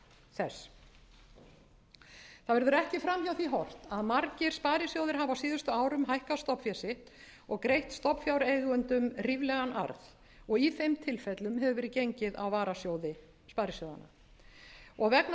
þess það verður ekki fram hjá því horft að margir sparisjóðir hafa á síðustu árum hækkað stofnfé sitt og greitt stofnfjáreigendum ríflegan arð og í þeim tilfellum hefur verið gengið á varasjóði sparisjóðanna vegna taprekstrar á